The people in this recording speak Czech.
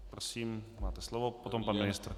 Prosím, máte slovo, potom pan ministr.